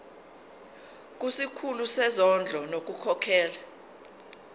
kusikhulu sezondlo ngokukhokhela